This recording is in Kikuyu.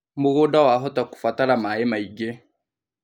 Mũgũnda wahota kũbatara maĩ maingĩ